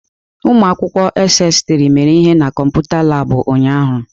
Ụmụ akwụkwọ SS3 mere ihe na kọmputa Laabụ̀ ụnyaahụ.